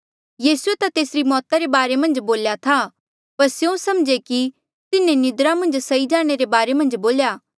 यीसूए ता तेसरी मौता रे बारे मन्झ बोल्या था पर स्यों समझे कि तिन्हें निन्द्रा मन्झ सई जाणे रे बारे मन्झ बोल्या